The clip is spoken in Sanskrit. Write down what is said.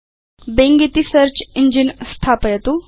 बिंग इति सेऽर्च इञ्जिन स्थापयतु